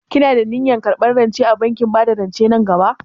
Kina da niyyar karɓar rance a bankin bada rance nan gaba?